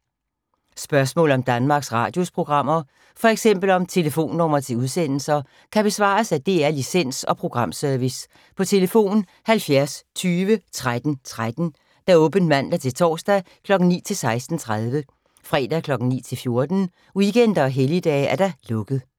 Spørgsmål om Danmarks Radios programmer, f.eks. om telefonnumre til udsendelser, kan besvares af DR Licens- og Programservice: tlf. 70 20 13 13, åbent mandag-torsdag 9.00-16.30, fredag 9.00-14.00, weekender og helligdage: lukket.